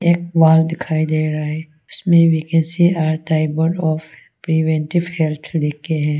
एक वाल दिखाई दे रहा है इसमें vaccines are tugboats of preventive health लिख के है।